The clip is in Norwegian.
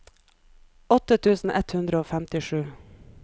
åtte tusen ett hundre og femtisju